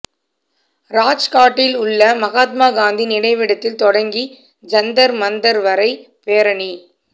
ராஜ்காட்டில் உள்ள மகாத்மா காந்தி நினைவிடத்தில் தொடங்கி ஜந்தர் மந்தர் வரை பேரணி